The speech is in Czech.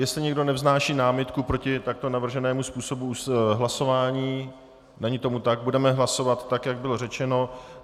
Jestli někdo nevznáší námitku proti takto navrženému způsobu hlasování, není tomu tak, budeme hlasovat tak, jak bylo řečeno.